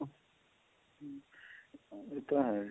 ਏਹ ਤਾਂ ਹੈ